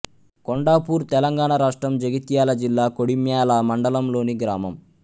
కొండాపూర్ తెలంగాణ రాష్ట్రం జగిత్యాల జిల్లా కొడిమ్యాల మండలంలోని గ్రామం